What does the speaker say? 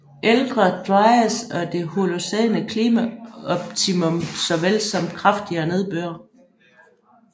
Ældre Dryas og det Holocæne klimaoptimum såvel som kraftigere nedbør